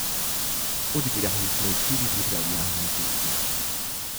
Odigrali smo štiri pripravljalne tekme.